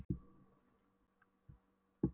Hann dæsti ánægjulega og rétti afa blinda hornið.